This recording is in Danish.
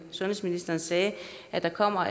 sundhedsministeren sagde at der kommer